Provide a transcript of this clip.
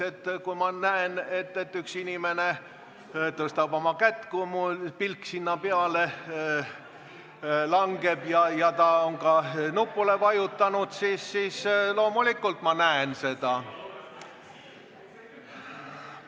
Kui ma näen, et üks inimene tõstab käe – kui minu pilk sinna peale langeb –, ja ta on ka nupule vajutanud, siis loomulikult ma näen seda.